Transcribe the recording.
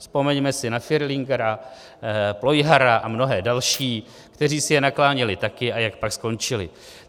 Vzpomeňme si na Fierlingera, Plojhara a mnohé další, kteří si je nakláněli taky, a jak pak skončili.